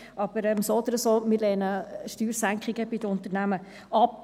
Aber so oder so: Wir lehnen Steuersenkungen bei den Unternehmen ab.